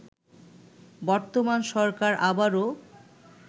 বর্তমান সরকার আবারও